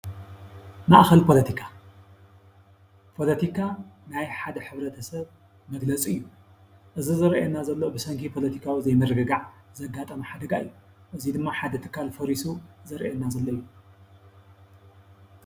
ማእኸል ፖለቲካ፣ ፖለቲካ ናይ ሓደ ሕብረተሰብ መግለፂ እዩ። እዚ ዝረአየና ዘሎ ብሰንኪ ፖለቲካዊ ዘይምርግጋዕ ዘጋጠመ ሓደጋ እዩ። እዚ ድማ ሓደ ትካል ፈሪሱ ዝረኣየና ዘሎ እዩ።